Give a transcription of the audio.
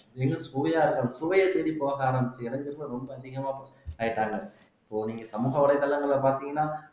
மேலும் சுவையா இருக்கும் சுவையைத் தேடிப் போக ஆரம்பிச்சு இளைஞர்கள் ரொம்ப அதிகமா ஆயிட்டாங்க இப்போ நீங்க சமூக வலைத்தளங்கள்ல பார்த்தீங்கன்னா